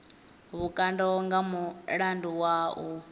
vhukando nga mulandu wa u